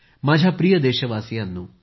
माझ्या प्रिय देशवासियांनो